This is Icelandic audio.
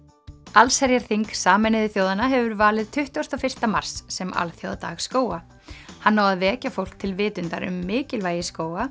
allsherjarþing Sameinuðu þjóðanna hefur valið tuttugasta og fyrsta mars sem alþjóðadag skóga hann á að vekja fólk til vitundar um mikilvægi skóga